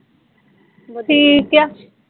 ਵਧੀਆ